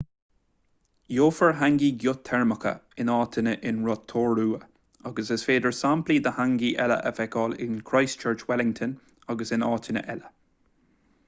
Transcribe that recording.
gheofar hangi geoiteirmeacha in áiteanna in rotorua agus is féidir samplaí de hangi eile a fheiceáil in christchurch wellington agus in áiteanna eile